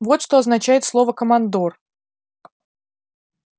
вот что означает слово командор